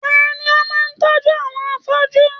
Tani o máa tọjú àwọn afọju?